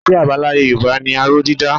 Iṣẹ́ àbáláyé Yorùbá ni aró dídá